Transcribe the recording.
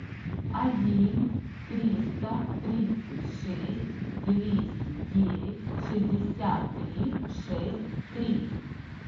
один триста тридцать шесть двести девять шестьдесят три шесть три